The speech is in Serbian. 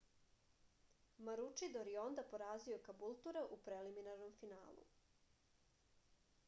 maručidor je onda porazio kabultura u preliminarnom finalu